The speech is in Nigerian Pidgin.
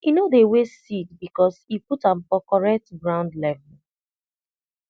e no dey waste seed because e put am for correct ground level